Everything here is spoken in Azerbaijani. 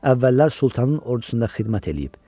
Əvvəllər sultanın ordusunda xidmət eləyib.